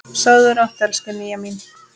Sofðu rótt, elsku Nýja mín.